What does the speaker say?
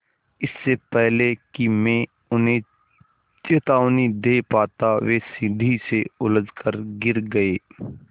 इससे पहले कि मैं उन्हें चेतावनी दे पाता वे सीढ़ी से उलझकर गिर गए